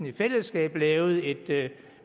i fællesskab lavede et